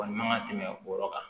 Wa man ka tɛmɛ o yɔrɔ kan